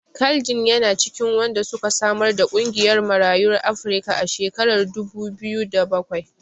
Carl Ginn yana cikin wanda suka samar da ƙungiyar Marayun Afrika a shekarar dubu biyu da bakwai.